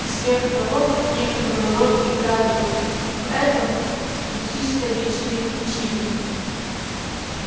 и сверх того некоторую роль играли в этом и чисто личные причины